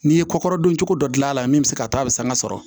N'i ye kokɔrɔdon cogo dɔ dilan a la min bɛ se ka taa a bɛ sanga sɔrɔ